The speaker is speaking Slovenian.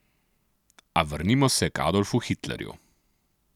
A vrnimo se k Adolfu Hitlerju.